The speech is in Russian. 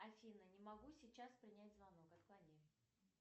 афина не могу сейчас принять звонок отклони